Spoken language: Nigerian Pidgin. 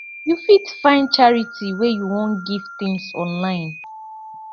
you fit find charity wey you wan give things to online